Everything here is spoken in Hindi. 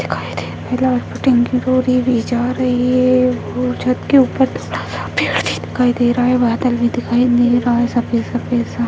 दिखाई दे रहा है जा रही है छत के ऊपर दिखाई दे रहा है बादल भी दिखाई दे रहा है सफेद-सफेद सा --